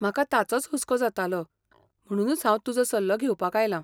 म्हाका ताचोच हुस्को जातालो, म्हणुनूच हांव तुजो सल्लो घेवपाक आयलां.